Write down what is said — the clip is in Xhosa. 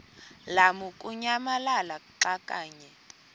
lamukunyamalala xa kanye